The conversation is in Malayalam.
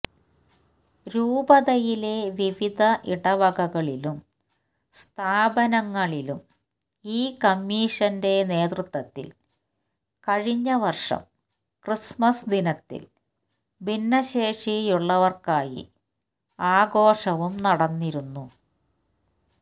രൂപതയിലെ വിവിധ ഇടവകകളിലും സ്ഥാപനങ്ങളിലും ഈ കമ്മീഷന്റെ നേതൃത്വത്തിൽ കഴിഞ്ഞ വർഷം ക്രിസ്മസ് ദിനത്തിൽ ഭിന്നശേഷിയുള്ളവർക്കായി ആഘോഷവും നടന്നിരുന്നു